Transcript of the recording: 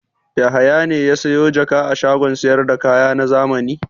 Yahaya ne ya sayo jaka a shagon sayar da kaya na zamani?